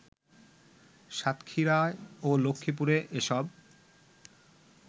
সাতক্ষীরা ও লক্ষ্মীপুরে এসব